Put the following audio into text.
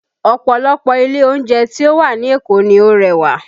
Ọ̀pọ̀lọpọ̀ ilé oúnjẹ tí ó wà ní Èkó ni ó rẹwà